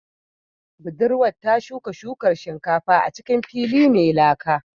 Budurwar ta shuka shukar shinkafa a cikin fili mai laka